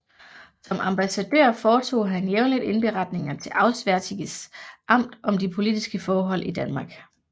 Som ambassadør foretog han jævnligt indberetninger til Auswärtiges Amt om de politiske forhold i Danmark